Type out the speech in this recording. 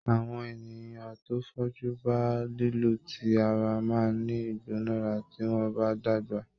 Àwọn ènìyàn tó fojú ba lílù ti ara máa ní ìgbónára tí wọ́n bá dàgbà.